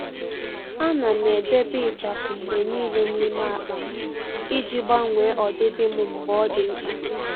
À nà m edèbè ịchafụ mgbe nìile n’ímé ákpá m iji gbanwee ọdịdị m mgbe ọ́ dị́ mkpa.